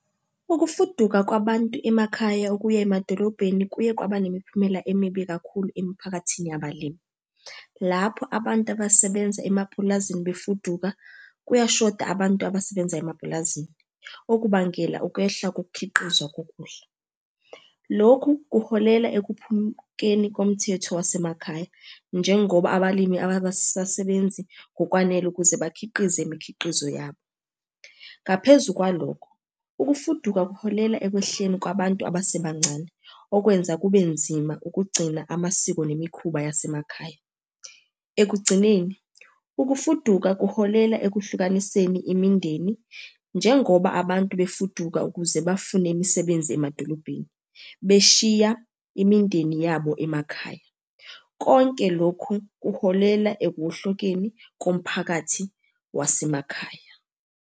Ukufuduka kwabantu emakhaya ukuya emadolobheni kuye kwaba nemiphumela emibi kakhulu emiphakathini yabalimi. Lapho abantu abasebenza emapulazini befuduka, kuyashoda abantu abasebenza emapulazini, okubangela ukwehla kokukhiqizwa kokudla. Lokhu kuholela ekuphukeni komthetho wasemakhaya, njengoba abalimi abasasebenzi ngokwanele ukuze bakhiqize imikhiqizo yabo. Ngaphezu kwalokho, ukufuduka kuholela ekwehleni kwabantu abasebancane, okwenza kube nzima ukugcina amasiko nemikhuba yasemakhaya. Ekugcineni, ukufuduka kuholela ekuhlukaniseni imindeni njengoba abantu befuduka ukuze bafune imisebenzi emadolobheni, beshiya imindeni yabo emakhaya. Konke lokhu kuholela ekuwohlokeni komphakathi wasemakhaya.